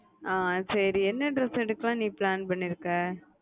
ஆஹ் சரி என்ன dress எடுக்கலாம் ன்னு நீ plan பண்ணிருக்க